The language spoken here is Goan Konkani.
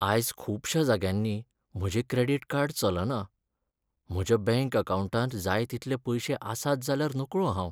आयज खुबश्या जाग्यांनी म्हजें क्रॅडिट कार्ड चलना. म्हज्या बँक अकावंटांत जाय तितलें पयशें आसात जाल्यार नकळो हांव.